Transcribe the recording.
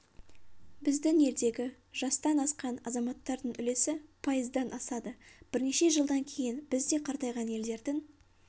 біздің елдегі жастан асқан азаматтардың үлесі пайыздан асады бірнеше жылдан кейін біз де қартайған елдердің